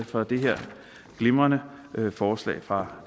for det her glimrende forslag fra